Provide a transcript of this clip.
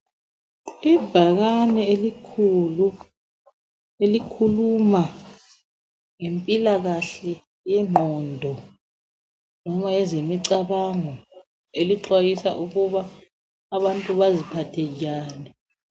Ibhakane elikhulu elikhuluma ngempilakahle yengqondo loba ezemicabango, elixwayisa ukuba abantu baziphathe njani.